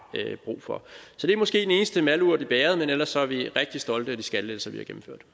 brug for så det er måske den eneste malurt i bægeret men ellers er vi rigtig stolte af de skattelettelser vi